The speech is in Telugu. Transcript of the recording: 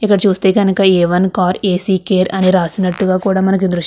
ఇక్కడ చూస్తే కనుక A one car AC care అని రాసినట్టుగా కూడా మనకి దృశ్యం --